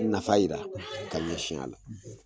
Nafa yera ka ɲɛsin a la